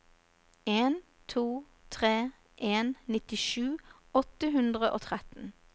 en to tre en nittisju åtte hundre og tretten